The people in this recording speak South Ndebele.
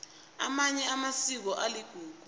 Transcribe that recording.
amanye amasiko aligugu